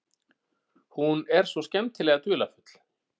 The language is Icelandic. Hún er svo skemmtilega dularfull.